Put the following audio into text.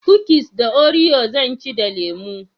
Kukis na orio zan ci da lemo